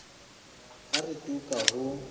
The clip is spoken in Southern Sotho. ha re tu ka ho